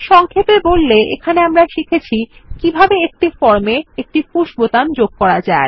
সংক্ষেপে বললে আমরা এখানে শিখেছি কিভাবে কোনো ফর্ম এ একটি পুশ বাটন যুক্ত করে